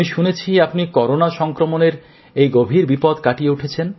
আমি শুনেছি আপনি করোনা সংক্রমণের এই গভীর বিপদ কাটিয়ে উঠেছেন